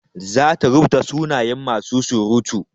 Za ta rubuta sunayen masu surutu.